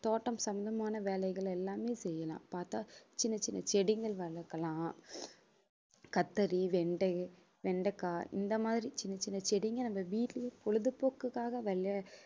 தோட்டம் சம்பந்தமான வேலைகள் எல்லாமே செய்யலாம் பார்த்தா சின்னச் சின்ன செடிகள் வளர்க்கலாம் கத்தரி வெண்டை வெண்டைக்காய் இந்த மாதிரி சின்னச் சின்ன செடிங்க நம்ம வீட்டிலேயே பொழுதுபோக்குக்காக